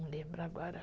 Não lembro agora.